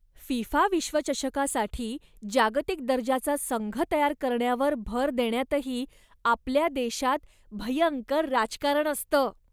FIFA विश्वचषकासाठी जागतिक दर्जाचा संघ तयार करण्यावर भर देण्यातही आपल्या देशात भयंकर राजकारण असतं.